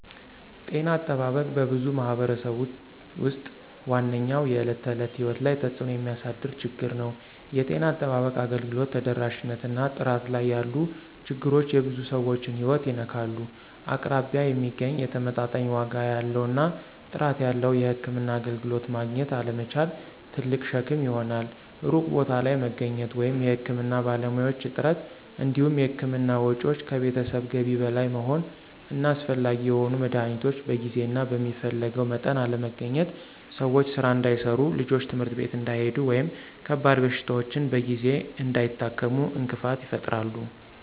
ጤና አጠባበቅ በብዙ ማኅበረሰቦች ውስጥ ዋነኛው የዕለት ተዕለት ሕይወት ላይ ተጽእኖ የሚያሳድር ችግር ነው። የጤና አጠባበቅ አገልግሎት ተደራሽነት እና ጥራት ላይ ያሉ ችግሮች የብዙ ሰዎችን ሕይወት ይነካሉ። አቅራቢያ የሚገኝ፣ ተመጣጣኝ ዋጋ ያለው እና ጥራት ያለው የሕክምና አገልግሎት ማግኘት አለመቻል ትልቅ ሸክም ይሆናል። ሩቅ ቦታ ላይ መገኘት ወይም የሕክምና ባለሙያዎች እጥረት እንዲሁም የሕክምና ወጪዎች ከቤተሰብ ገቢ በላይ መሆን እና አስፈላጊ የሆኑ መድኃኒቶች በጊዜ እና በሚፈለገው መጠን አለመገኘት ሰዎች ሥራ እንዳይሠሩ፣ ልጆች ትምህርት ቤት እንዳይሄዱ ወይም ከባድ በሽታዎችን በጊዜ እንዳይታከሙ እንቅፋት ይፈጥራሉ።